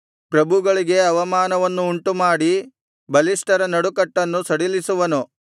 ಪ್ರಭುಗಳಿಗೆ ಅವಮಾನವನ್ನು ಉಂಟುಮಾಡಿ ಬಲಿಷ್ಠರ ನಡುಕಟ್ಟನ್ನು ಸಡಿಲಿಸುವನು